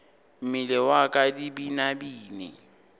mmele wa ka di binabine